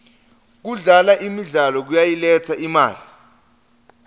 kudlala imidlalo kuyayiletsa imali